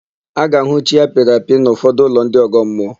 A ga-ahụ chi apịrị apị n'ụfọdụ ụlọ ndị ọgọmmụọ.